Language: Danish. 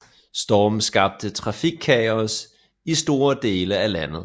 Stormen skabte trafikkaos i store dele af landet